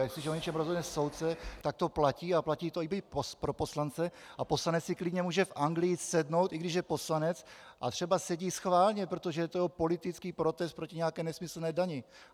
A jestliže o něčem rozhodne soudce, tak to platí a platí to i pro poslance a poslanec si klidně může v Anglii jít sednout, i když je poslanec, a třeba sedí schválně, protože je to jeho politický protest proti nějaké nesmyslné dani.